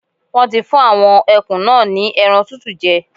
Wọ́n ti fún àwọn ẹkùn náà ni ẹran tútù jẹ.